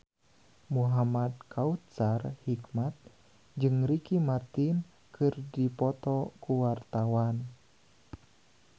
Muhamad Kautsar Hikmat jeung Ricky Martin keur dipoto ku wartawan